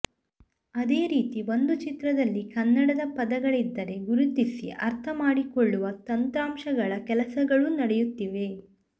ಅದೇ ರೀತಿ ಒಂದು ಚಿತ್ರದಲ್ಲಿ ಕನ್ನಡದ ಪದಗಳಿದ್ದರೆ ಗುರುತಿಸಿ ಅರ್ಥ ಮಾಡಿ ಕೊಳ್ಳುವ ತಂತ್ರಾಂಶಗಳ ಕೆಲಸಗಳೂ ನಡೆಯುತ್ತಿವೆ